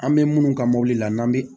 An bɛ minnu ka mɔbili la n'an bi